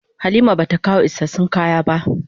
Halima bata kawo isassun kaya ba.